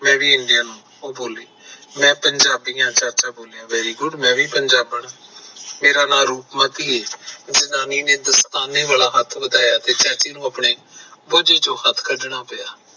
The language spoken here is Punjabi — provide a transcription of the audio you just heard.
ਮੈਂ ਪੰਜਾਬੀ ਐ ਚਾਚਾ ਬੋਲਿਆ very good ਮੈਂ ਵੀ ਪੰਜਾਬਣ ਐ ਮੇਰਾ ਨਾਮ ਰੂਪਮਤੀ ਐ ਜਨਾਨੀ ਨੇ ਦਸਤਾਨੇ ਵਾਲਾ ਹੱਥ ਵਧਾਇਆ ਤੇ ਚਾਚੇ ਨੂੰ ਆਪਣੇ ਜੇਬੇ ਵਿੱਚੋਂ ਹੱਥ ਕੱਢਣਾ ਪਿਆ